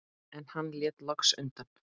En hann lét loks undan.